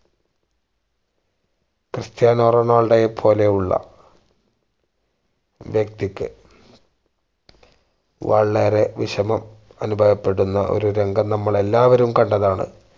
Cristiano റൊണാൾഡോയെ പോലെയുള്ള വ്യക്തിക്ക് വളരെ വിഷമം അനുഭവപ്പെടുന്ന ഒരു രംഗം നമ്മൾ എല്ലാവരും കണ്ടതാണ്